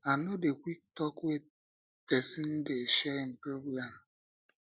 i no dey quick talk wen pesin dey share im problem